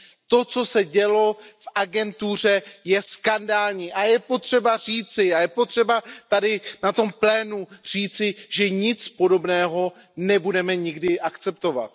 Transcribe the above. To, co se dělo v agentuře, je skandální a je potřeba říci, je potřeba tady na tom plénu říci, že nic podobného nebudeme nikdy akceptovat.